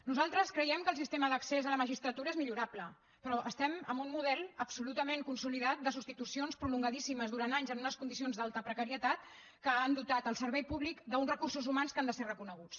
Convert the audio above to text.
nosaltres creiem que el sistema d’accés a la magistratura és millorable però estem amb un model absolutament consolidat de substitucions pro·longadíssimes durant anys en unes condicions d’alta precarie tat que han dotat el servei públic d’uns recur·sos humans que han de ser reconeguts